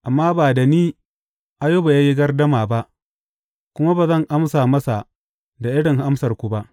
Amma ba da ni Ayuba ya yi gardama ba kuma ba zan amsa masa da irin amsarku ba.